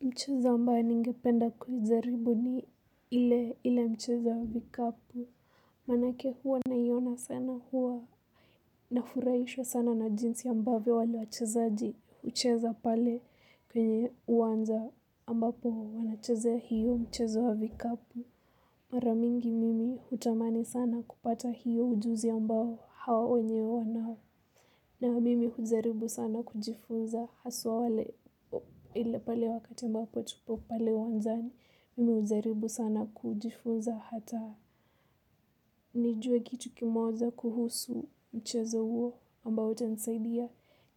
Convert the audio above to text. Mchezo ambao ningependa kujaribu ni ile mchezo wa vikapu. Manake huwa naiona sana huwa nafurahishwa sana na jinsi ambavyo wale wachezaji hucheza pale kwenye uwanja ambapo wanacheza mchezo huo wa vikapu. Mara mingi mimi hutamani sana kupata hiyo ujuzi ambao hao wenyewe wanao. Na mimi hujaribu sana kujifunza, haswa wale ile pale wakati ambapo tupo pale uwanjani. Mimi hujaribu sana kujifunza hata nijue kitu kimoja kuhusu mchezo huo ambao utanisaidia